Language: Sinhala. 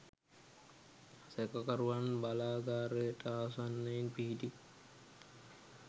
සැකකරුවන් බලාගාරයට ආසන්නයෙන් පිහිටි